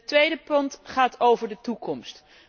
Het tweede punt gaat over de toekomst.